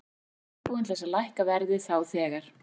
Ég kvaðst vera reiðubúinn til þess að lækka verðið þá þegar.